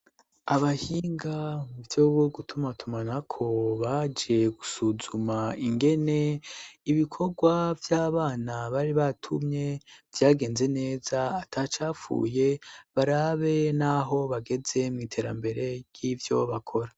Abahinga mu vyo gutuma tumanako ,baje gusuzuma ingene ibikorwa vy'abana bari batumye vyagenze neza atacapfuye ,barabe n'aho bageze mw' iterambere ryivyo bakora.